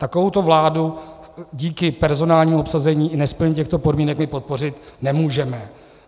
Takovouto vládu díky personálnímu obsazení i nesplnění těchto podmínek, my podpořit nemůžeme.